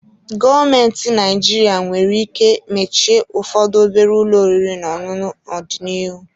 Gọọmentị Naijiria nwere ike mechie ụfọdụ obere ụlọ oriri n'ọṅụṅụ n'ọdịnihu.